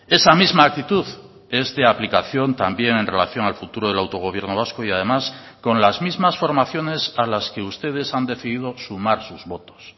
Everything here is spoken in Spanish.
esa misma actitud es de aplicación también en relación al futuro del autogobierno vasco y además con las mismas formaciones a las que ustedes han decidido sumar sus votos